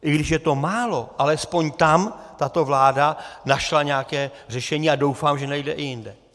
I když je to málo, alespoň tam tato vláda našla nějaké řešení a doufám, že najde i jinde.